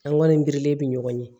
An kɔni birilen bɛ ɲɔgɔn ye